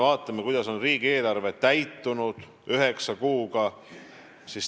Vaatame, kuidas on riigieelarve üheksa kuuga täitunud.